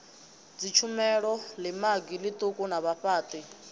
dzitshumelo ḽimagi ḽiṱuku na vhafhaṱi